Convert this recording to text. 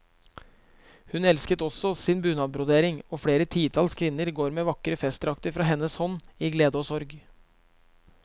Hun elsket også sin bunadbrodering, og flere titalls kvinner går med vakre festdrakter fra hennes hånd, i glede og i sorg.